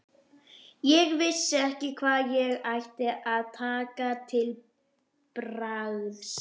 Ég vissi ekki hvað ég ætti að taka til bragðs.